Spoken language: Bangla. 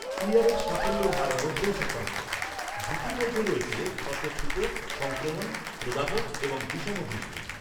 ক্লিয়ারের সাফল্যের হার নব্বই শতাংশ, ঝুঁকির মধ্যে রয়েছে ক্ষতে ফুটো, সংক্রমণ, প্রদাহ, এবং বিষমদৃষ্টি।